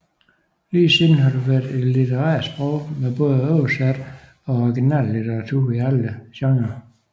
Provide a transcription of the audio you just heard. Lige siden har det været et litterært sprog med både oversat og original litteratur i alle genrer